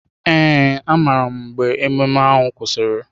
Ee, amaara m mgbe ememe ahụ kwụsịrị.